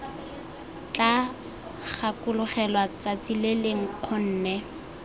tla gakologelwa tsatsi lele nkgonne